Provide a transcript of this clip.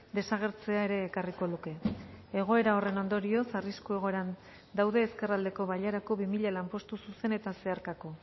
desagertzea ere ekarriko luke egoera horren ondorioz arrisku egoeran daude ezkerraldeko bailarako bi mila lanpostu zuzen eta zeharkako